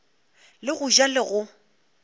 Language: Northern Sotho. le go ja le go